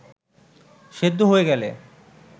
সেদ্ধ হয়ে গেলে